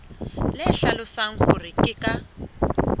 le hlalosang hore ke ka